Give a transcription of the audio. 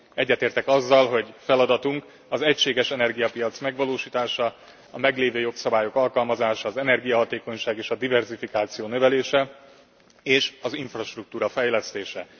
Egyetértek azzal, hogy feladatunk az egységes energiapiac megvalósítása, a meglévő jogszabályok alkalmazása az energiahatékonyság és a diverzifikáció növelése, és az infrastruktúra fejlesztése.